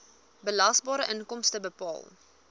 belasbare inkomste bepaal